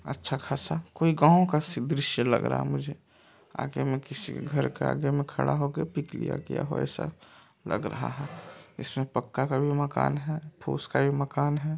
अच्छा खासा कोई गाँव का सी दृश्या लग रहा है मुझे आगे मे किसी घर के आगे मे खड़ा होके पिक लिया गया हो ऐसा लग रहा है इसमे पक्का का भी मकान है फुस का भी मकान है।